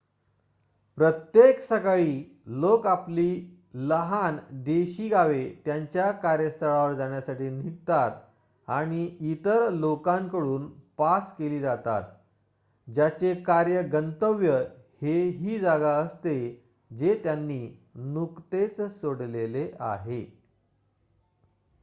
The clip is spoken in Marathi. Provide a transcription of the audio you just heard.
प्रत्येक सकाळी लोक आपली लहान देशी गावे त्यांच्या कार्यस्थळावर जाण्यासाठी निघतात आणि इतर लोकांकडून पास केली जातात ज्याचे कार्य गंतव्य हे ही जागा असते जे त्यांनी नुकतेच सोडले आहे